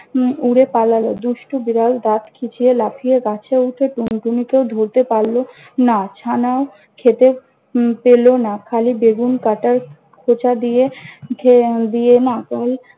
উম উড়ে পালাল। দুষ্টু বিড়াল দাত খিচিয়ে লাফিয়ে গাছে উঠে টুনটুনিকেও ধরতে পারল না। ছানাও খেতে উম পেল না। খালি বেগুন কাটার খোঁচা দিয়ে খেয়ে দিয়ে মাখন